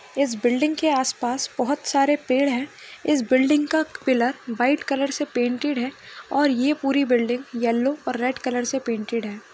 इस बिल्डिंग के आसपास बहुत सारे पेड़ है इस बिल्डिंग का पिलर व्हाइट कलर से पेंटेड है और यह पूरी बिल्डिंग येलो और रेड कलर से पेंटेड है।